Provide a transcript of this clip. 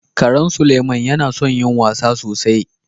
Karan Suleiman yana son yin wasa da sosai